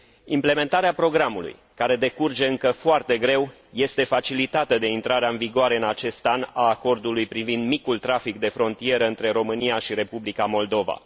Implementarea programului, care decurge încă foarte greu, este facilitată de intrarea în vigoare în acest an a acordului privind micul trafic de frontieră între România și Republica Moldova.